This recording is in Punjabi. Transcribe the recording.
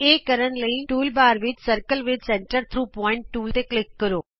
ਇਹ ਕਰਨ ਲਈ ਟੂਲਬਾਰ ਵਿਚ circle with centre through point tool ਤੇ ਕਲਿਕ ਕਰੋ